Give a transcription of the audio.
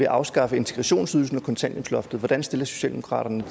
afskaffe integrationsydelsen og kontanthjælpsloftet hvordan stiller socialdemokratiet